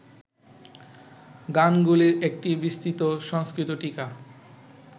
গানগুলির একটি বিস্তৃত সংস্কৃত টীকা